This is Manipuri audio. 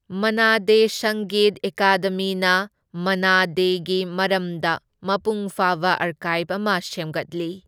ꯃꯟꯅꯥ ꯗꯦ ꯁꯪꯒꯤꯠ ꯑꯦꯀꯥꯗꯦꯃꯤꯅ ꯃꯟꯅꯥ ꯗꯦꯒꯤ ꯃꯔꯝꯗ ꯃꯄꯨꯡ ꯐꯥꯕ ꯑꯥꯔꯀꯥꯢꯚ ꯑꯃ ꯁꯦꯝꯒꯠꯂꯤ꯫